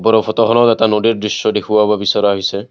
ওপৰৰ ফটোখনত এটা নদীৰ দৃশ্য দেখুৱাব বিচৰা হৈছে।